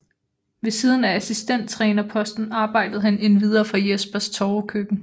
Ved siden af assistenttrænerposten arbejdede han endvidere for Jespers Torvekøkken